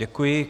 Děkuji.